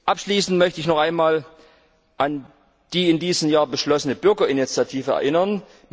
Abschließend möchte ich noch einmal an die in diesem Jahr beschlossene Bürgerinitiative erinnern.